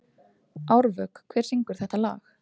Árvök, hver syngur þetta lag?